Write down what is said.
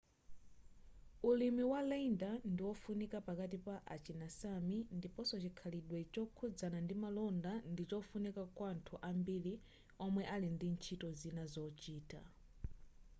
ulimi wa reindeer ndi ofunika pakati pa achina sámi ndiponso chikhalidwe chokhuzana ndi malonda ndichofunika kwa anthu ambiri omwe ali ndi ntchito zina zochita